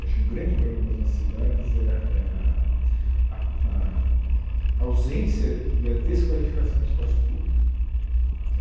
Acho que um grande problema das nossas cidades é é a a a ausência e a desqualificação do espaço público.